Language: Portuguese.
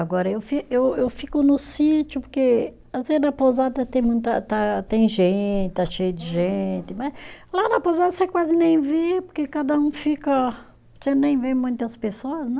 Agora, eu fi, eu eu fico no sítio, porque, às vezes, na pousada tem muita ta, tem gente, está cheio de gente né, lá na pousada você quase nem vê, porque cada um fica, você nem vê muitas pessoas, né?